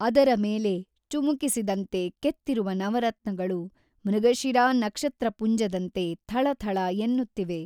ಅದರ ಮೇಲೆ ಚುಮಕಿಸಿದಂತೆ ಕೆತ್ತಿರುವ ನವರತ್ನಗಳು ಮೃಗಶಿರಾ ನಕ್ಷತ್ರಪುಂಜದಂತೆ ಥಳಥಳ ಎನ್ನುತ್ತಿವೆ.